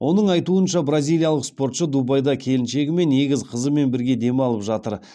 оның айтуынша бразилиялық спортшы дубайда келіншегі мен егіз қызымен бірге демалып жатыр